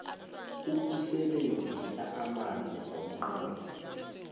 ukusebenzisa amanzi ngomnqopho